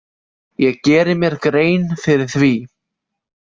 Ég geri mér grein fyrir því.